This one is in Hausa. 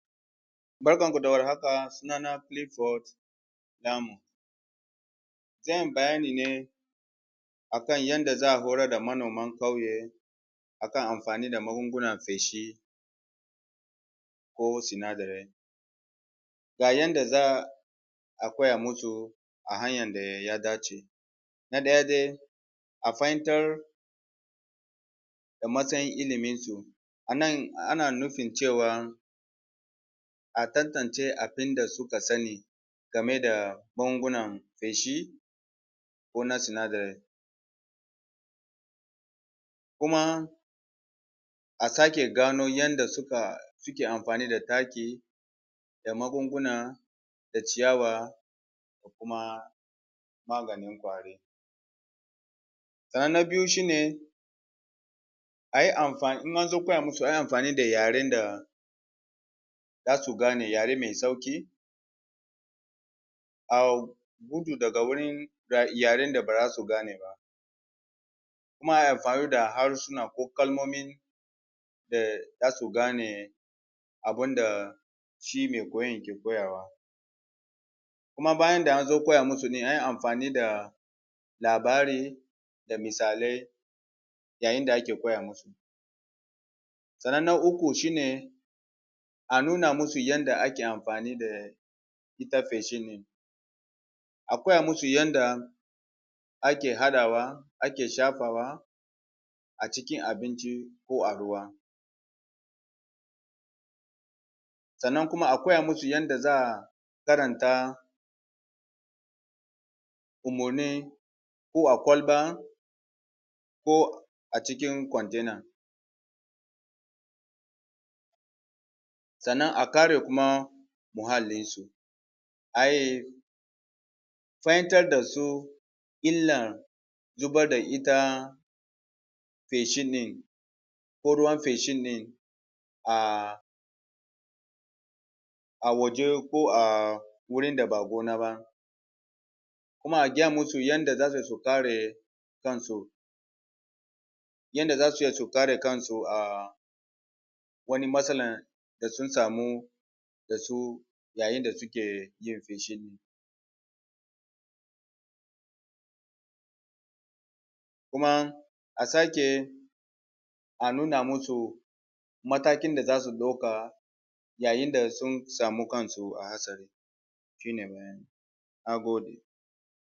Barkanku da war haka sunana Philips. Zan yi bayani ne a kan yanda za a horar da manoman kyauye a kan amfani da magungunan feshi ko sinadarai. Ga yanda za a koya musu a hanyan da ya dace. Na daya dai, a fahimtar da matsayin iliminsu. A nan ana nufin cewan a tan tance abun da suka sani game da magungunan feshi ko na sinadarai. Kuma a sake gano yanda suka suke amfani da taki da magunguna da ciyawa da kuma maganin kwari. Sannan na biyu shi ne a yi amfani in an zo koya musu a yi amfani da yaren da za su gane, yare mai sauki, a gudu daga wurin yaren da ba za su gane ba kuma a yi amfani da harsuna ko kalmomin da za su gane abunda shi mai koyan ke koyawa. Kuma bayan da an zo koya musu din a yi amfani da da labari da misalai yayin da ake koya musu. Sannan na uku shi ne a nuna masu yanda ake amfani da ita feshin ne. A koya musu yanda ake hadawa ake shafawa a cikin abinci ko a ruwa sannan kuma a koya musu yanda za a karanta umurni ko a kwalba ko a cikin container sannan a kare kuma muhallinsu ai fahimtar da su illar zubar da ita feshin din ko ruwan feshin din a a waje ko a wurin da ba gona ba kuma a giya musu yanda za su yi su kare kansu yanda za su iya su kare kansu um wani matsalan da sun samu da su yayin da suke yin feshin din. Kuma a sake a nuna masu matakin da za su dauka yayin da sun samu kansu a hasari shi ne bayanin. Na gode.